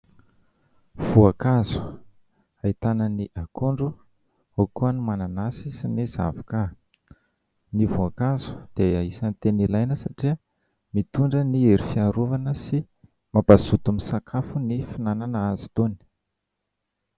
Voankazo ahitana ny akondro, ao koa ny mananasy sy ny zavoka. Ny voankazo dia isan'ny tena ilaina satria mitondra ny hery fiarovana sy mampazoto misakafo ny fihinanana azy itony.